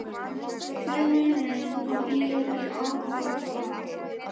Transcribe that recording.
Hver er munurinn á ÍR í ár og í fyrra?